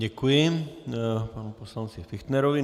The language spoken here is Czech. Děkuji panu poslanci Fichtnerovi.